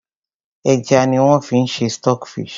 Ẹja ni wón fi ń ṣe stock fish.